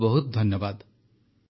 ବହୁତ ବହୁତ ଧନ୍ୟବାଦ